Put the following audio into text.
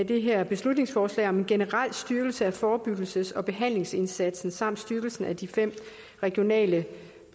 det her beslutningsforslag om en generel styrkelse af forebyggelses og behandlingsindsatsen samt styrkelsen af de fem regionale